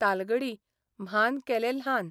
तालगडी म्हान केले ल्हान !